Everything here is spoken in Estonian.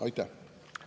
Aitäh!